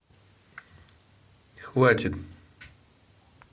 хватит